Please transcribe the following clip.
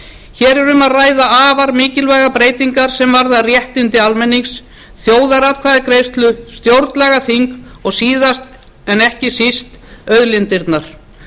hér er um að ræða afar mikilvægar breytingar sem varða réttindi almennings þjóðaratkvæðagreiðslu stjórnlagaþing og síðast en ekki síst auðlindirnar